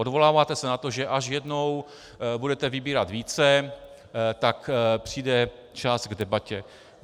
Odvoláváte se na to, že až jednou budete vybírat více, tak přijde čas k debatě.